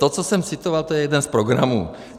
To, co jsem citoval, to je jeden z programů.